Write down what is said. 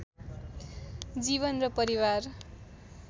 जीवन र परिवार